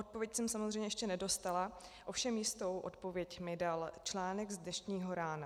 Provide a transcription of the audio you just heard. Odpověď jsem samozřejmě ještě nedostala, ovšem jistou odpověď mi dal článek z dnešního rána.